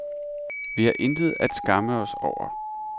Vi har intet at skamme os over.